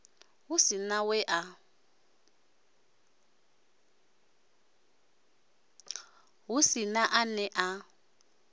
hu si na we a